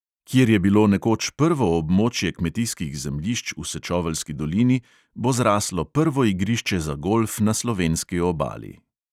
Kjer je bilo nekoč prvo območje kmetijskih zemljišč v sečoveljski dolini, bo zraslo prvo igrišče za golf na slovenski obali.